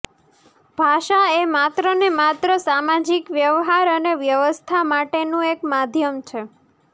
ભાષા એ માત્ર ને માત્ર સામાજિક વ્યવહાર અને વ્યવસ્થા માટેનું એક માધ્યમ છે